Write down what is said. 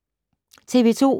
TV 2